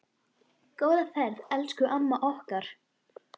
Góða ferð, elsku amma okkar.